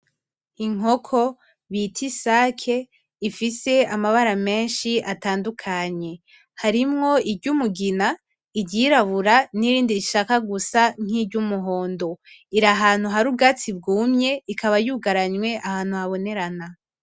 Inkoko bita isake ifise amabara menshi atandukanye harimwo iryumugina, iryirabura nirindi rishaka gusa nkiry'umuhondo iri ahantu hari ubwatsi bwumye ikaba yugaranywe ahantu habonerana.